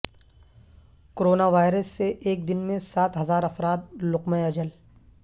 corona virus سے ایک دن میں سات ہزار افراد لقمہ اجل